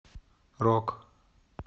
рок